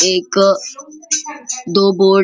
एक दो बोर्ड --